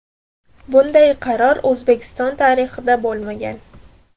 Bunday qaror O‘zbekiston tarixida bo‘lmagan.